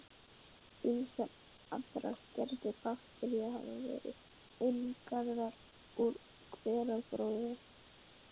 Ýmsar aðrar gerðir baktería hafa verið einangraðar úr hveragróðri.